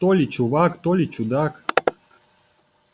то ли чувак то ли чудак